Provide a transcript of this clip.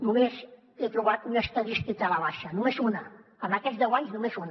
només he trobat una estadística a la baixa només una en aquests deu anys només una